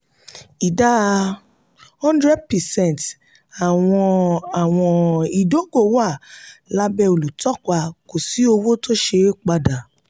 ìdá hundred percent àwọn àwọn ìdógò wà lábẹ́ olùtọ́pa kò sí owó tó ṣeé padà.